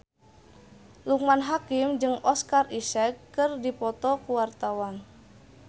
Loekman Hakim jeung Oscar Isaac keur dipoto ku wartawan